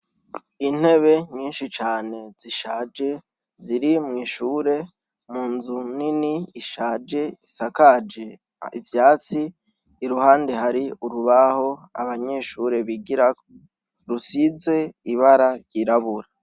Intebe nyinshi cane zishaje ziri mwishure munzu nini ishaje isakaje ivyatsi, iruhande hari urubaho abanyeshure bigirako rusize ibara ryirabura.